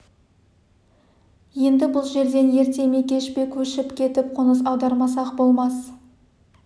енді бұл жерден ерте ме кеш пе көшіп кетіп қоныс аудармасақ болмас